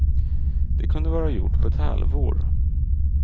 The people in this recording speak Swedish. Det kunde vara gjort på ett halvår.